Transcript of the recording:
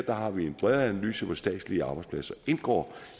har vi en bredere analyse hvor statslige arbejdspladser indgår